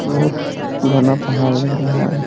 बहुत पुराना पहाड़ लग रहा है।